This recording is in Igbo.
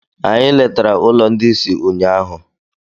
Anyị letara ụlọ ndị ìsì ụnyaahụ.